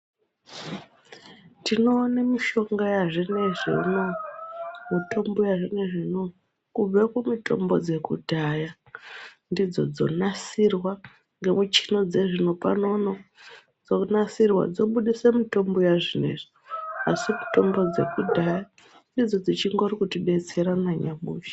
Tinoone mushonga yazvinezvi uno, mutombo yazvinezvi uno kubve kumitombo dzekudhaya ndidzodzonasirwa ngemuchina dzezvino panono dzonasirwa dzobudisa mutombo yazvinezvi asi mutombo dzekudhaya ndidzo dzichingori kutibetsera nanyamushi.